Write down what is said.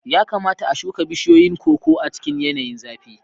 Ya kamata a shuka bishiyoyin koko a cikin yanayin zafi.